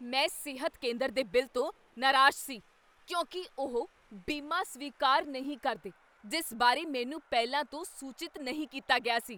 ਮੈਂ ਸਿਹਤ ਕੇਂਦਰ ਦੇ ਬਿੱਲ ਤੋਂ ਨਾਰਾਜ਼ ਸੀ ਕਿਉਂਕਿ ਉਹ ਬੀਮਾ ਸਵੀਕਾਰ ਨਹੀਂ ਕਰਦੇ ਜਿਸ ਬਾਰੇ ਮੈਨੂੰ ਪਹਿਲਾਂ ਤੋਂ ਸੂਚਿਤ ਨਹੀਂ ਕੀਤਾ ਗਿਆ ਸੀ।